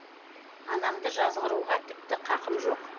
анамды жазғыруға тіпті қақым жоқ